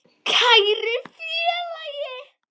Kæri félagi.